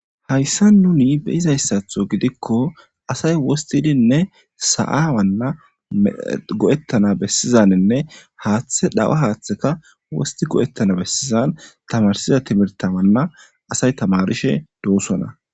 Hayisan nuni be,izayisa gidiko asayi wostidinne sa,a wana go,etanawu go,etanawu besizawana hathe dhawa hatheka wati go,etanako tamarisida timirte tamirishe dosona